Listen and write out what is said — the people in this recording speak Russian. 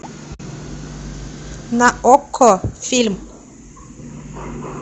на окко фильм